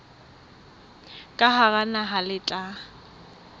ka hara naha le tla